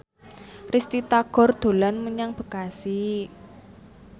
Risty Tagor dolan menyang Bekasi